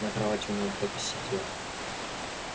на кровати у него кто-то сидел